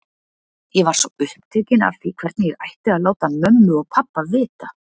Ég var svo upptekinn af því hvernig ég ætti að láta mömmu og pabba vita.